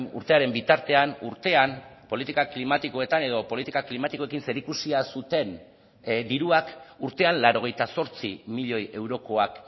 urtearen bitartean urtean politika klimatikoetan edo politika klimatikoekin zerikusia zuten diruak urtean laurogeita zortzi milioi eurokoak